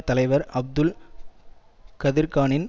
தலைவர் அப்துல் கதிர்கானின்